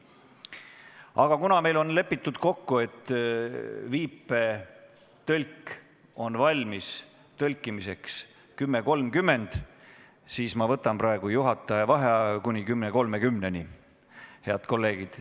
Aga kuna meil on lepitud kokku, et viipekeeletõlk on valmis tõlkimiseks kell 10.30, siis ma võtan juhataja vaheaja kuni kella 10.30-ni, head kolleegid.